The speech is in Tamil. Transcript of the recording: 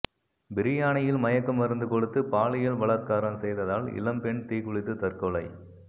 பிரியாணியில் மயக்க மருந்து கொடுத்து பாலியல் பலாத்காரம் செய்ததால் இளம்பெண் தீக்குளித்து தற்கொலை